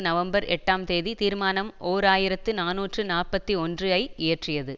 November எட்டாம் தேதி தீர்மானம் ஓர் ஆயிரத்தி நாநூற்று நாற்பத்தி ஒன்று ஐ இயற்றியது